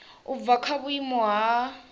u bva kha vhuimo ha